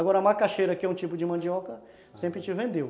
Agora a macaxeira, que é um tipo de mandioca, sempre te vendeu.